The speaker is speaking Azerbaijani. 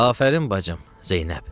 Afərin bacım, Zeynəb.